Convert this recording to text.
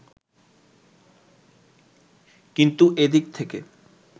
কিন্তু এ দিক থেকে